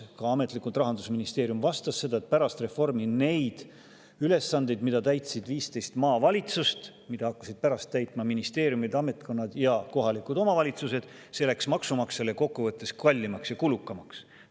Ka ametlikult Rahandusministeerium vastas, et pärast reformi need ülesanded, mida täitsid 15 maavalitsust ja mida hakkasid pärast täitma ministeeriumid, ametkonnad ja kohalikud omavalitsused, läksid maksumaksjale kokkuvõttes kallimaks ja kulukamaks.